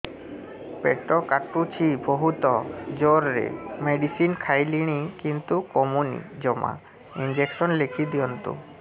ପେଟ କାଟୁଛି ବହୁତ ଜୋରରେ ମେଡିସିନ ଖାଇଲିଣି କିନ୍ତୁ କମୁନି ଜମା ଇଂଜେକସନ ଲେଖିଦିଅନ୍ତୁ